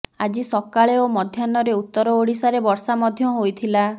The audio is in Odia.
ଆଜି ସକାଳେ ଓ ମଧ୍ୟାହ୍ନରେ ଉତ୍ତର ଓଡ଼ିଶାରେ ବର୍ଷା ମଧ୍ୟ ହୋଇଥିଲା